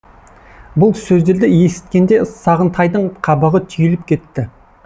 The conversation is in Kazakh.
бұл сөздерді есіткенде сағынтайдың қабағы түйіліп кетті